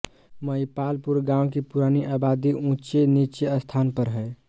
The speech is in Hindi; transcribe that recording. महिपालपुर गाँव की पुरानी आबादी ऊचे निचे स्थान पर हें